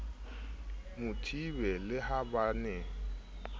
mathibe le ha ba ne